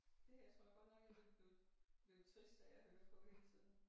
Det her tror jeg godt nok jeg ville blive blive trist af at høre på hele tiden